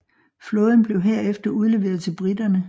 Flåden blev herefter udleveret til briterne